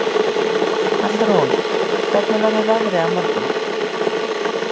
Hallrún, hvernig verður veðrið á morgun?